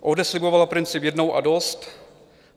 ODS slibovala princip "jednou a dost".